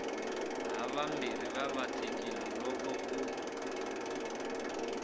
havambirhi va vatlekile loko u